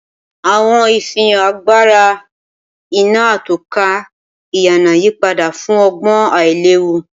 Awọn ifihan agbara iná atọ́ka ìyànà yipada fun ọgbọn ailewu.